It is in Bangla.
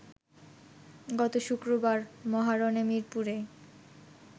গত শুক্রবার মহারণে মিরপুরে